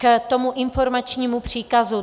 K tomu informačnímu příkazu.